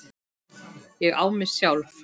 Ég á mig sjálf.